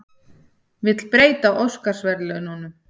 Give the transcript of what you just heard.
Vill breyta Óskarsverðlaununum